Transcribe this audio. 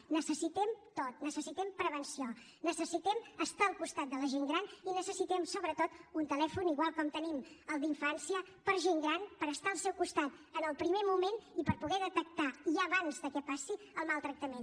ho necessitem tot necessitem prevenció necessitem estar al costat de la gent gran i necessitem sobretot un telèfon igual com tenim el d’infància per a gent gran per estar al seu costat en el primer moment i per poder detectar ja abans que passi el maltractament